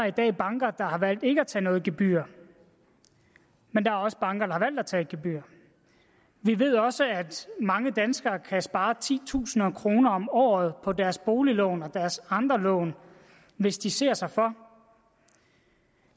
i dag banker der har valgt ikke at tage noget gebyr men der er også banker har valgt at tage et gebyr vi ved også at mange danskere kan spare titusinder af kroner om året på deres boliglån og deres andre lån hvis de ser sig for